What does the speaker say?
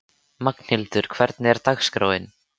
Magnhildur, hvernig er dagskráin?